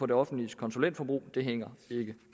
det offentliges konsulentforbrug det hænger ikke